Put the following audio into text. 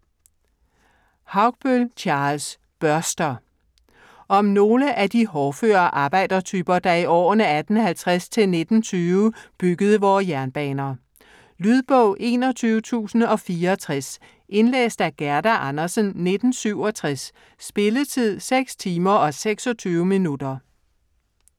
Haugbøll, Charles: Børster Om nogle af de hårdføre arbejdertyper, der i årene 1850-1920 byggede vore jernbaner. Lydbog 21064 Indlæst af Gerda Andersen, 1967. Spilletid: 6 timer, 26 minutter.